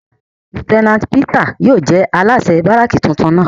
Lieutenant Peters yóò jẹ alaṣẹ baraki titun náa